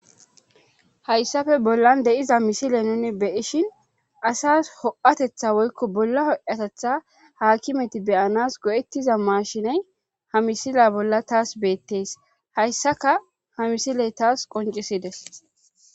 hayssafe bollan de'iza misile nunne be'ishin asas ho'atetha woykko bolla hoatetha haakimeti beyanas go'ettiza maashiney ha misila bolla taas beettes hayssaka ha misiley taas qoncisides